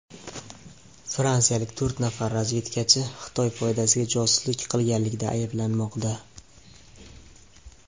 Fransiyalik to‘rt nafar razvedkachi Xitoy foydasiga josuslik qilganlikda ayblanmoqda.